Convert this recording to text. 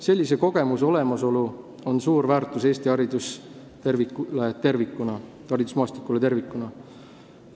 Sellise kogemuse olemasolu on suur väärtus Eesti haridusmaastikule tervikuna.